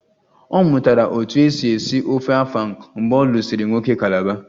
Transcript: Ọ mụtara otú e si esi ofe afang mgbe ọ lụsịrị nwoke calabar